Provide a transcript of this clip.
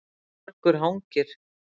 Vargur hangir